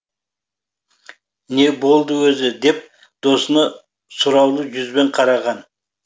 не болды өзі деп досына сұраулы жүзбен қараған